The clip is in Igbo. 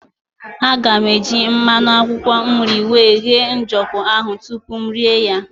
Aga m eji mmanụ akwụkwọ nri wee ghee ojoko ahụ tupu m rie ya.